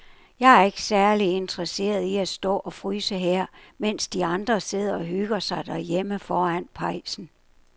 Jeg er ikke særlig interesseret i at stå og fryse her, mens de andre sidder og hygger sig derhjemme foran pejsen.